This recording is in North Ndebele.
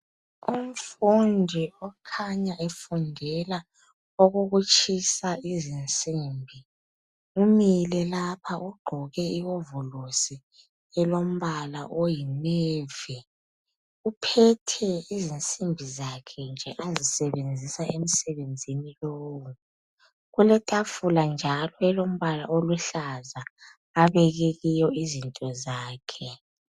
Umfundi okhanya efundela okokutshisa izinsimbi, umile lapha ugqoke iwovolosi elomba oyinevi. Uphethe izinsimbi zakhe nje azisebenzisa emsebenzini lowu. Kuletafula njalo elombala oluhlaza abeke kiyo izinto zakhe.